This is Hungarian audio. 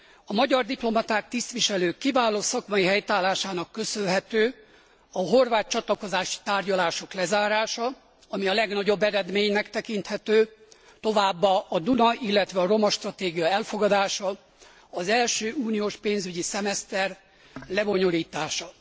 A magyar diplomaták, tisztviselők kiváló szakmai helytállásának köszönhető a horvát csatlakozási tárgyalások lezárása, ami a legnagyobb eredménynek tekinthető, továbbá a Duna illetve a romastratégia elfogadása, az első uniós pénzügyi szemeszter lebonyolítása.